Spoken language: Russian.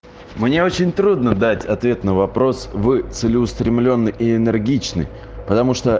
мне очень трудно дать ответ на вопрос вы целеустремлённый и энергичный потому что